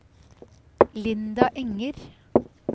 Linda Enger